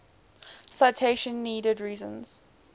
citation needed reason